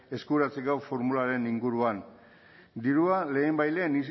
eskuratzeko formularen inguruan dirua lehenbailehen